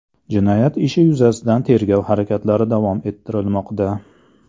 Jinoyat ishi yuzasidan tergov harakatlari davom ettirilmoqda.